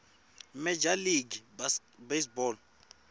major league baseball